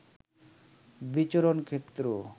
বিচরণ ক্ষেত্র